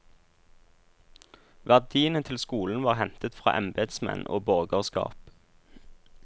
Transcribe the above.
Verdiene til skolen var hentet fra embetsmenn og borgerskap.